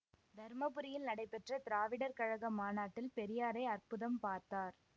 தர்மபுரியில் நடைபெற்ற திராவிடர் கழக மாநாட்டில் பெரியாரை அற்புதம் பார்த்தார்